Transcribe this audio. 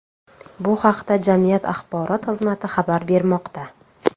Bu haqda jamiyat axborot xizmati xabar bermoqda .